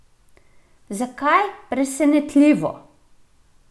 Zakaj presenetljivo?